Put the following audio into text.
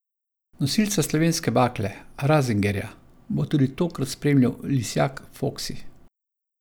Nosilca slovenske bakle, Razingarja, bo tudi tokrat spremljal lisjak Foksi.